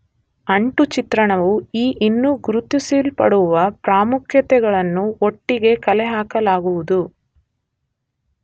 ಅಂಟು ಚಿತ್ರಣವು ಈ ಇನ್ನೂ ಗುರುತಿಸಲ್ಪಡುವ ಪ್ರಾಮುಖ್ಯತೆಗಳನ್ನು ಒಟ್ಟಿಗೆ ಕಲೆಹಾಕಲಾಗುವುದು